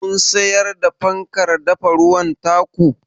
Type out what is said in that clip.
Kun siyar da fankar dafa ruwan ta ku?